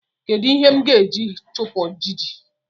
Kedu ihe m ga-eji chupụ ijiji?